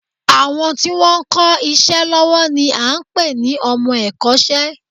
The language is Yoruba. Àwọn tí wọn ń kọ́ iṣẹ́ lọ́wọ́ ni à ń pè ní ọmọ ẹ̀kọ́ṣẹ́